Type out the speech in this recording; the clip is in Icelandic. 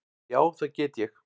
Já, það get ég.